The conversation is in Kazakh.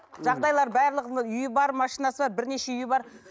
жағдайлары барлығының үйі бар машинасы бар бірнеше үйі бар